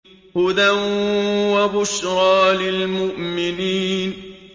هُدًى وَبُشْرَىٰ لِلْمُؤْمِنِينَ